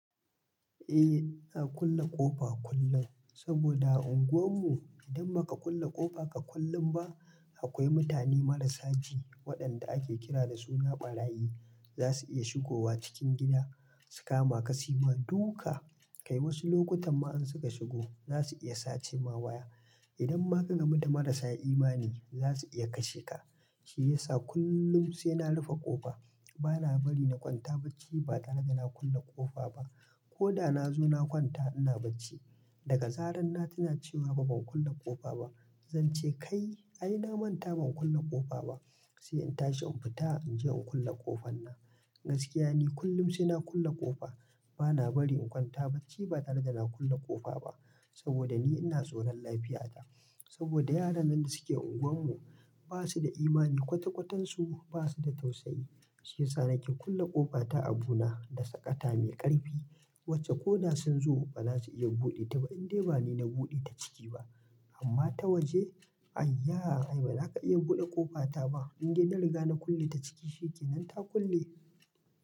Eh, ina kulle ƙofa kullum saboda unguwar mu idan ba ka kulle ƙofa ka kullun ba akwai mutane marasa ji waɗanda ake kira da suna ɓarayi za su iya shigowa cikin gida su kama ka sima duka. Kai wasu lokutan ma in suka shigo za su iya sace ma waya. Idan ma ka gamu da marasa imani za su iya kashe ka. Shi ya sa kullum sai na rufe ƙofa. Bana bari na kwanta bacci ba tare da na kulle ƙofa ba ko da na zo na kwanta ina bacci. Daga zaran na tuna cewa "Ban kun kulle ƙofa ba?" zan ce "Kai ai na manta ban kulle ƙofa ba" sai in tashi in fita in je in kulle ƙofan na. Gaskiya ne kullum sai na kulle ƙofa. Bana bari in kwanta bacci ba tare da na kulle ƙofa ba saboda ni ina tsoron lafiya ta saboda yaran nan da suke unguwar mu ba su da imani, kwata-kwatansu ba su da tausayi. Shi ya sa nake kulle ƙofa ta a buna na da saƙata mai ƙarfi wacce ko na sun zo ba za su iya buɗe ta ba indai ba ni na buɗe ta ciki ba amma ta waje? Aiya! Ai ba za ka iya buɗe ƙofa ta ba. In dai na riga na kulle ta ciki shine kenan ta kulle.